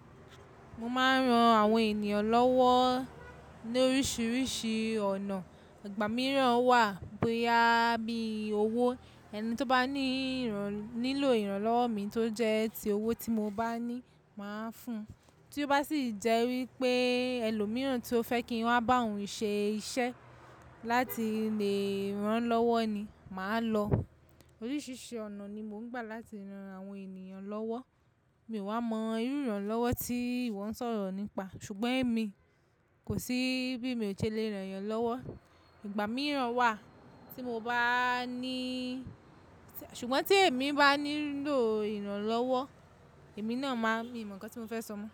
Mo máa ń ran àwọn ènìyàn lọ́wọ́ ní oríṣiríṣi ọ̀nà. Ìgbà mìíràn wà bóyá bí i owó. Ẹni tí ó bá ní ìràn-- nílò ìrànlọ́wọ́ mi tó jẹ́ ti owó tí mo bá ní, màá fún un. Tí ó bá sì jẹ́ wí pé ẹlòmíràn tí ó fẹ́ kí wọ́n bá òun ṣe iṣẹ́ láti lè ran lọ́wọ́ ni, màá lọ. Oríṣiríṣi ọ̀nà ni mò ń gbà láti ran àwọn ènìyàn lọ́wọ́. Mi ò wa mọ irú ìrànlọ́wọ́ tí ìwọ ń sọ̀rọ̀ nípa. Ṣùgbọ́n èmi kò sí bí mi ò ṣe le ràn yàn lọ́wọ́. Ìgbà mìíràn wà tí mo bá níìì-- ṣùgbọ́n tí èmi bá nílò ìrànlọ́wọ́, èmi náà máa-- mi ò mọ nǹkan tí mo fẹ́ sọ mọ́.